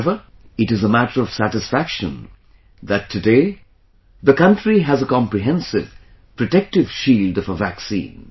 However, it is a matter of satisfaction that today the country has a comprehensive protective shield of a vaccine